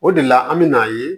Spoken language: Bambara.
O de la an mɛna ye